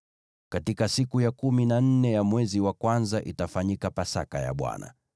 “ ‘Katika siku ya kumi na nne ya mwezi wa kwanza, itafanyika Pasaka ya Bwana .